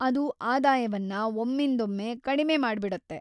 ಇದು ಆದಾಯವನ್ನ ಒಮ್ಮಿಂದೊಮ್ಮೆ ಕಡಿಮೆ ಮಾಡ್ಬಿಡುತ್ತೆ.